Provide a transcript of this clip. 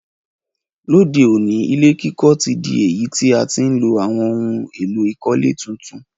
Lóde òní, ilé kíkọ́ ti dí èyí ti a ti n lo àwon oun èló ìkọ́lé tuntun